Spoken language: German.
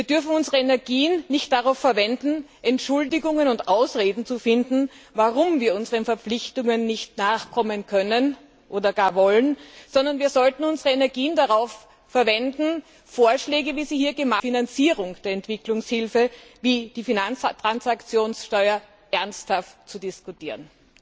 Wir dürfen unsere Energien nicht darauf verwenden, Entschuldigungen und Ausreden zu finden, warum wir unseren Verpflichtungen nicht nachkommen können oder gar wollen, sondern wir sollten unsere Energien darauf verwenden, Vorschläge zur Finanzierung der Entwicklungshilfe, wie sie hier gemacht wurden etwa die Finanztransaktionssteuer ernsthaft zu diskutieren.